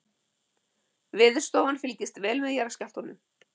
Veðurstofan fylgist vel með jarðskjálftunum